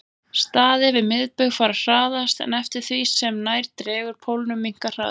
Staðir við miðbaug fara hraðast en eftir því sem nær dregur pólunum minnkar hraðinn.